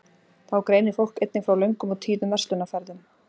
þá greinir fólk einnig frá löngum og tíðum verslunarferðum